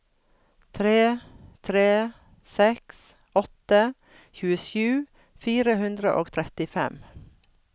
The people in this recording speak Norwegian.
tre tre seks åtte tjuesju fire hundre og trettifem